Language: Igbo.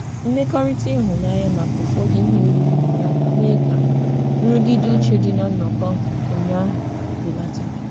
Mmekọrịta ịhụnanya maka ụfọdụ ihe oriri nyere aka mee ka nrụgide uche dị na nnọkọ ụnyaahụ belata.